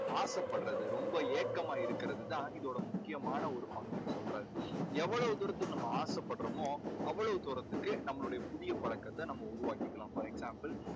ஆசைப்படுறது ரொம்ப ஏக்கமா இருக்கறது தான் இதோட முக்கியமான ஒரு பங்குன்னு சொல்றாரு. எவ்வளவு தூரத்துக்கு நம்ம ஆசைப்படறமோ அவ்வளவு தூரத்துக்கு நம்மளுடைய ஒரு புதிய பழக்கத்தை நம்ம உருவாக்கிக்கலாம் for example